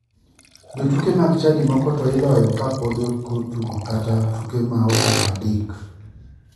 Jotuke mag chadi moko to iloyo ka podi ok otugo kata tuke ma okalo adek.